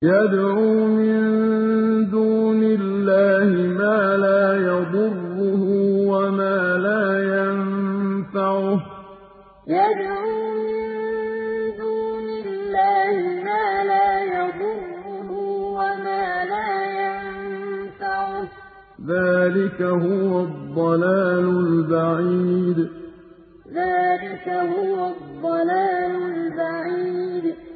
يَدْعُو مِن دُونِ اللَّهِ مَا لَا يَضُرُّهُ وَمَا لَا يَنفَعُهُ ۚ ذَٰلِكَ هُوَ الضَّلَالُ الْبَعِيدُ يَدْعُو مِن دُونِ اللَّهِ مَا لَا يَضُرُّهُ وَمَا لَا يَنفَعُهُ ۚ ذَٰلِكَ هُوَ الضَّلَالُ الْبَعِيدُ